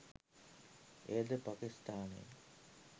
එයද පකිස්ථානයේ